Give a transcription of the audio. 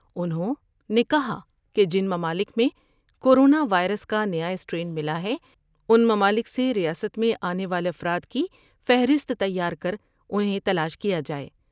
انہوں نے کہا کہ جن ممالک میں کورونا وائرس کا نیا اسٹر ین ملا ہے ، ان ممالک سے ریاست میں آنے والا افراد کی فہرست تیار کر انہیں تلاش کیا جاۓ ۔